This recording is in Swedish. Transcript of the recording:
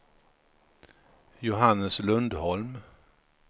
Johannes Lundholm